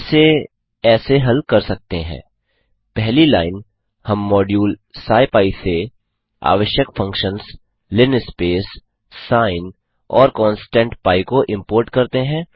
इसे ऐसे हल कर सकते हैं पहली लाइन हम मॉड्यूल स्किपी से आवश्यक फंक्शन्स linspace sin और कांस्टेंट पी को इम्पोर्ट करते हैं